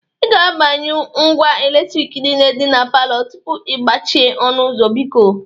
Ị ga-agbanyụ ngwa eletriki niile dị na palọ tupu ị gbachie ọnụ ụzọ, biko.